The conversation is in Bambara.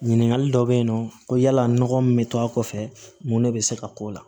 Ɲininkali dɔ bɛ yen nɔ ko yala nɔgɔ min bɛ to a kɔfɛ mun de bɛ se ka k'o la